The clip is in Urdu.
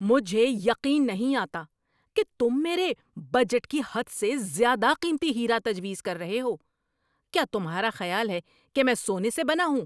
مجھے یقین نہیں آتا کہ تم میرے بجٹ کی حد سے زیادہ قیمتی ہیرا تجویز کر رہے ہو! کیا تمہارا خیال ہے کہ میں سونے سے بنا ہوں؟